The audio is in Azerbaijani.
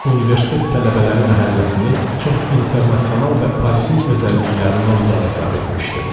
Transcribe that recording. Universitet tələbələri məhəlləsini çox internasional və Parisin özəlliklərindən uzaq hesab etmişdim.